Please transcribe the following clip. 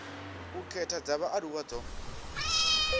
u khetha dza vhaaluwa dzo